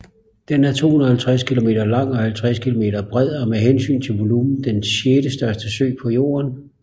Den er 250 kilometer lang og 50 kilometer bred og er med hensyn til volumen den sjettestørste sø på Jorden